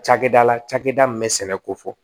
Cakɛda la cakɛda min bɛ sɛnɛ ko fɔ